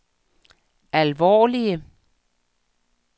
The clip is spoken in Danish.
alvorlige